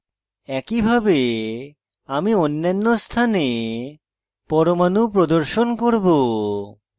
একইভাবে আমি অন্যান্য স্থানে পরমাণু প্রদর্শন করব